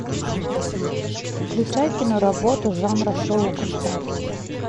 включай киноработу жанра шоу концерт